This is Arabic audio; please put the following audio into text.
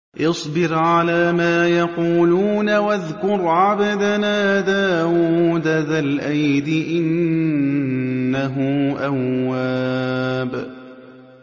اصْبِرْ عَلَىٰ مَا يَقُولُونَ وَاذْكُرْ عَبْدَنَا دَاوُودَ ذَا الْأَيْدِ ۖ إِنَّهُ أَوَّابٌ